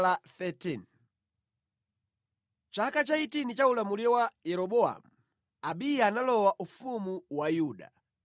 Mʼchaka cha 18 cha ulamuliro wa Yeroboamu, Abiya analowa ufumu wa Yuda,